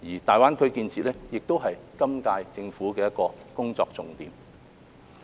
大灣區的建設亦是今屆政府的工作重點。